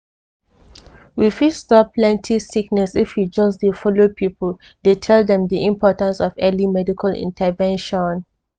we fit stop plenty sickness if we just dey follow people dey tell them di importance of early medical intervention.